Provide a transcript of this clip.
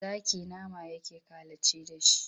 Zaki nama yake kalaci da shi.